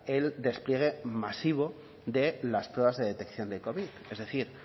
el despliegue masivo de las pruebas de detección del covid es decir